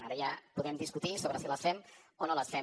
ara ja podem discutir sobre si les fem o no les fem